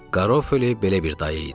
Garofoli belə bir dayı idi.